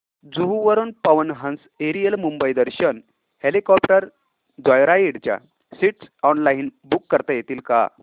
जुहू वरून Pawan Hans aerial Mumbai Darshan helicopter joyride च्या seats online book करता येतील का